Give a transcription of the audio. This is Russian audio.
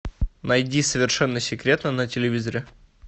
найди совершенно секретно на телевизоре